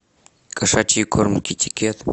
кошачий корм китикет